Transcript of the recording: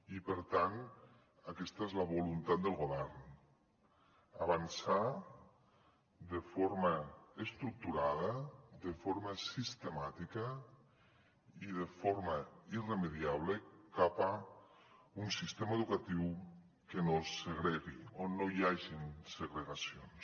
i per tant aquesta és la voluntat del govern avançar de forma estructurada de forma sistemàtica i de forma irremeiable cap a un sistema educatiu que no segregui on no hi hagin segregacions